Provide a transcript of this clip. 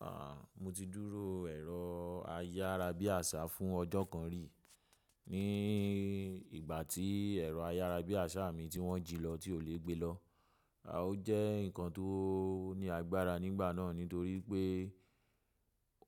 A, mo ti dúró ẹ̀rọ ayárabíàṣá fún ọjọ́ kan rí ní ìgbà tí ẹ̀rọ ayárabíàṣá mi tí wọ́n jí lọ tí òlè gbe lọ. À o jẹ́ nǹkan tó ní agbára nígbà náà nítorí pé